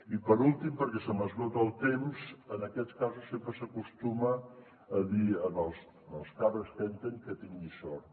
i per últim perquè se m’esgota el temps en aquests casos sempre s’acostuma a dir als càrrecs que entren que tinguin sort